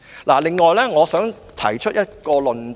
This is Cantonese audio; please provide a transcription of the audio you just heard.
此外，我還想提出一個論點。